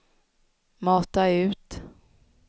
mata ut